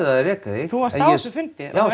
að reka þig þú varst á þessum fundi já